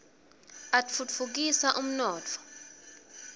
atfutfukisa umnotfo